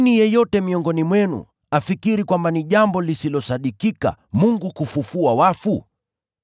Kwa nini yeyote miongoni mwenu afikiri kwamba ni jambo lisilosadikika Mungu kufufua wafu?